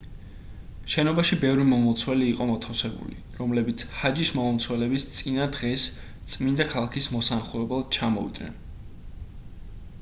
შენობაში ბევრი მომლოცველი იყო მოთავსებული რომლებიც ჰაჯის მომლოცველობის წინა დღეს წმინდა ქალაქის მოსანახულებლად ჩამოვიდნენ